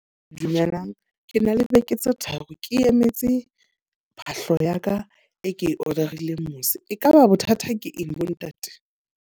Dumelang, ke na le beke tse tharo ke emetse phahlo ya ka e ke order-ile mose. Ekaba bothata ke eng bo ntate?